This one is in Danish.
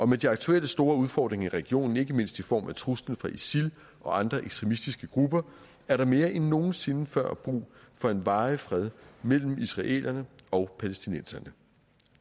med de aktuelle store udfordringer i regionen ikke mindst i form af truslen fra isil og andre ekstremistiske grupper er der mere end nogen sinde før brug for en varig fred mellem israelerne og palæstinenserne